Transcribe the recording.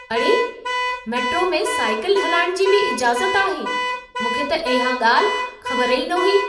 अड़े! मेट्रो में साइकिल हलाइण जी बि इजाज़त आहे। मूंखे त इहा ॻाल्हि, ख़बर ई न हुई।